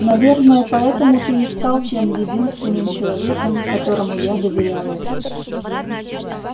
наверное поэтому ты и стал тем единственным человеком которому я доверяю